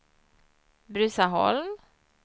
Bruzaholm